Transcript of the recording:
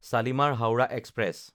শালিমাৰ (হাওৰা) এক্সপ্ৰেছ